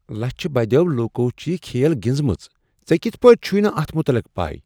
لچِھہ بدیو لوکو چھ یہ کھیل گنٛزمٕژ۔ ژے کِتھ پٲٹھۍ چھُے نہٕ اتھ متعلق پَے؟